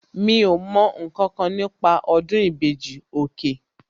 Mi ò mọ ǹkankan nípa ọdún ìbejì, òkè